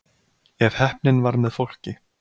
ef heppnin var með fólki